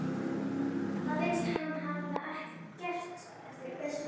Það virðist hann hafa gert eftir bestu getu.